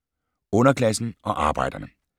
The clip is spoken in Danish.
Underklassen og arbejderne